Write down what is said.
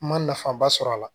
N ma nafa ba sɔrɔ a la